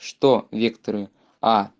что векторы а